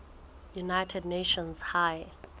united nations high